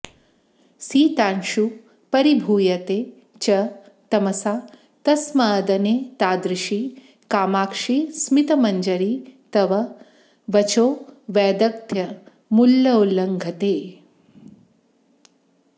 शीतांशुः परिभूयते च तमसा तस्मादनेतादृशी कामाक्षि स्मितमञ्जरी तव वचोवैदग्ध्यमुल्लङ्घते